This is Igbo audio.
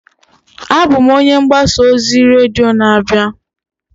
Abụ m onye mgbasa ozi redio na-abịa.